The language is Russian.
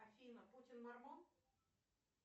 афина путин мармон